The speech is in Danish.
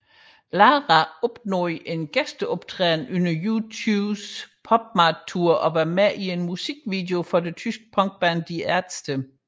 Lara opnåede en gæsteoptræden under U2s PopMart Tour og var med i en musikvideo for det tyske punkband Die Ärzte